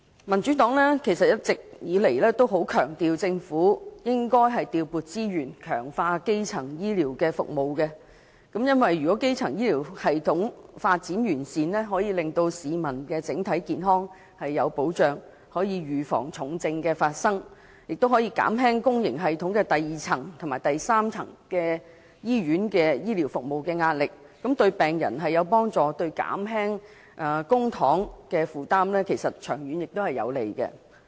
民主黨一直強調政府應該調撥資源，強化基層醫療服務，因為基層醫療系統發展完善，便可令市民的整體健康有保障，預防重症發生，減輕公營醫療系統第二層和第三層——即醫院服務的壓力，對病人有利，長遠對減輕公帑負擔也有幫助。